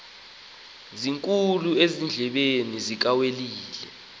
sikhulu ezindlebeni zikawelile